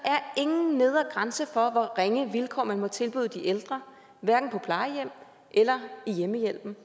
ingen nedre grænse for hvor ringe vilkår man må tilbyde de ældre hverken på plejehjem eller i hjemmehjælpen